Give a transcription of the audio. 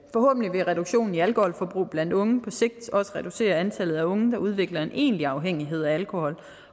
vil reduktionen i alkoholforbrug blandt unge på sigt også reducere antallet af unge der udvikler en egentlig afhængighed af alkohol